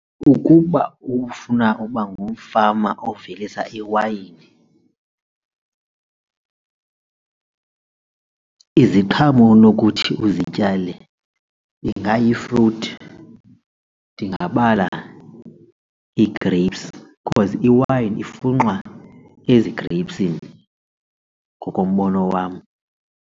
Ukuba ufuna uba ngumfama ovelisa iwayini iziqhamo onokuthi uzityale ingayifruthi, ndingabala ii-grapes because iwayini ifunxwa ezigreyipsini ngokombono wam.